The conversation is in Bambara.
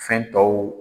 Fɛn tɔw